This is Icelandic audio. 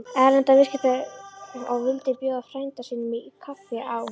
Erlendra viðskipta og vildi bjóða frænda sínum í kaffi á